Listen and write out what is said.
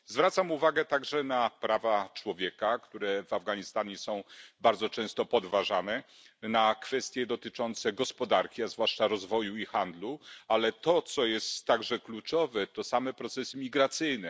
Zwracam uwagę także na prawa człowieka, które w Afganistanie są bardzo często podważane, na kwestie dotyczące gospodarki, a zwłaszcza rozwoju i handlu. Ale to, co jest także kluczowe, to same procesy migracyjne.